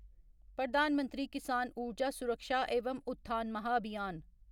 प्रधान मंत्री किसान ऊर्जा सुरक्षा एवम उत्थान महाभियान